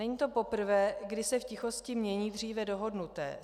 Není to poprvé, kdy se v tichosti mění dříve dohodnuté.